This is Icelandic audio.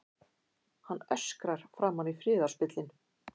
Hann öskrar framan í friðarspillinn.